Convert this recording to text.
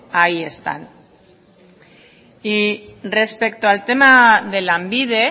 ahí están y respecto al tema de lanbide